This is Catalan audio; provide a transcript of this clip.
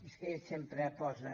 és que ell sempre posa